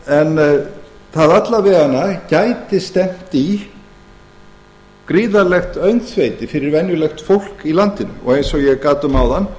það gæti alla vega stefnt í gríðarlegt öngþveiti fyrir venjulegt fólk í landinu og eins og ég gat um áðan